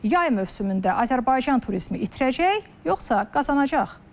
Yay mövsümündə Azərbaycan turizmi itirəcək, yoxsa qazanacaq?